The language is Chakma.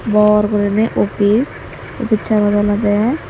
bor guriney office office sanot olodey.